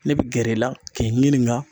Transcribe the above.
Ne be gɛrɛ i la, k'i ɲininka